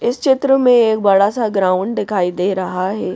इस चित्र में एक बड़ा सा ग्राउंड दिखाई दे रहा है।